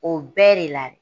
O bɛɛ de la